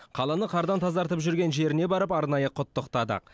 қаланы қардан тазартып жүрген жеріне барып арнайы құттықтадық